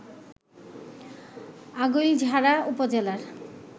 আগৈলঝাড়া উপজেলার